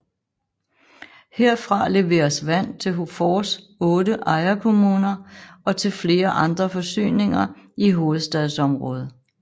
Herfra leveres vand til HOFORs otte ejerkommuner og til flere andre forsyninger i hovedstadsområdet